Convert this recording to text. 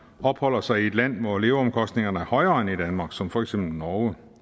opholder sig i et land hvor leveomkostningerne er højere end i danmark som for eksempel norge